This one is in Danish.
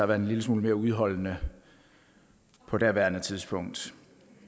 være en lille smule mere udholdende på daværende tidspunkt